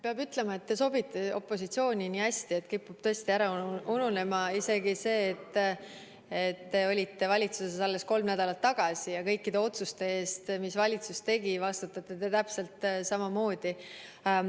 Peab ütlema, et te sobite opositsiooni nii hästi, et kipub ära ununema, et te olite valitsuses alles mõni nädal tagasi ja kõikide otsuste eest, mis valitsus tegi, vastutate te täpselt samamoodi.